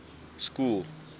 school